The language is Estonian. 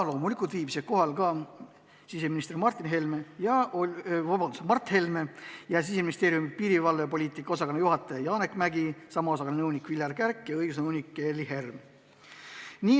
Loomulikult viibisid kohal ka siseminister Mart Helme ja Siseministeeriumi piirivalvepoliitika osakonna juhataja Janek Mägi, sama osakonna nõunik Viljar Kärk ja õigusnõunik Gerly Herm.